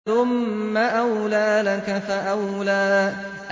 ثُمَّ أَوْلَىٰ لَكَ فَأَوْلَىٰ